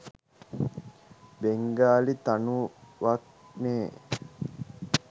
Bengali තනුවක්නේ.